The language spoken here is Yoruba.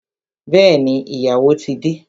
Bẹẹni, ìyàwó ti de